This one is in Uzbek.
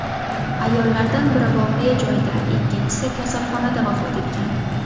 Ayollardan biri voqea joyida, ikkinchisi kasalxonada vafot etgan.